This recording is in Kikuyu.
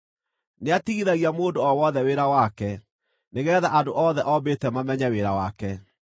Nĩatigithagia mũndũ o wothe wĩra wake nĩgeetha andũ othe ombĩte mamenye wĩra wake.